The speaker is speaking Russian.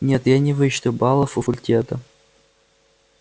нет я не вычту баллов у факультета